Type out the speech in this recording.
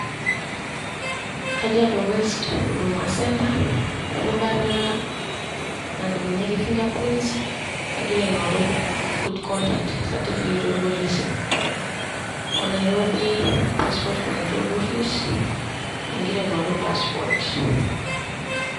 Kajiado west hudama centre erubata nadumunyieki fingerprints agira aing'oru good conduct satifiket orpolisi. O Nairobi passport control office agira aing'oru passport.